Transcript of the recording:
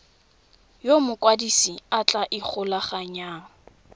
yo mokwadise a tla ikgolaganyang